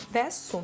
Və su.